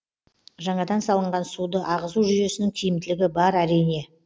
жаңадан салынған суды ағызу жүйесінің тиімділігі бар әрине